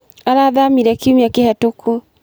Arathamire kiumia kĩhĩtũku.